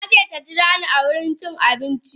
Nace taji rani a wurin cin abinci.